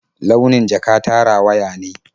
Launin jaka ta rawaya ne.